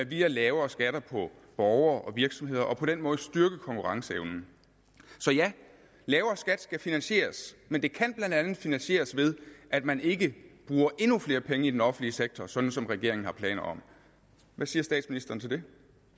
via lavere skatter for borgere og virksomheder og på den måde styrke konkurrenceevnen så ja lavere skat skal finansieres men det kan blandt andet finansieres ved at man ikke bruger endnu flere penge i den offentlige sektor sådan som regeringen har planer om hvad siger statsministeren til det